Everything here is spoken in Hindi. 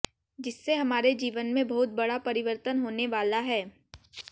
जिससे हमारे जीवन में बहुत बड़ा परिर्वतन होने वाला है